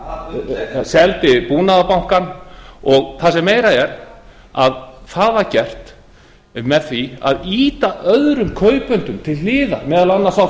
ríkiseigur hann seldi búnaðarbankann og það sem meira er það var gert með því að ýta öðrum kaupendum til hliðar meðal annars á